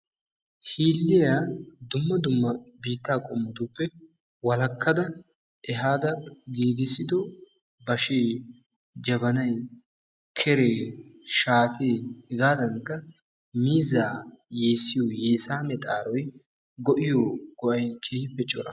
Hiilliyaa dumma dumma biittaa qommotuppe walakkada ehaada giiggissiddo bashee, jabbanay, keree, shaate, hegaadankka miizzaa yeessiyo yeessamee xaaroy goyiyo go'ay keehippe cora.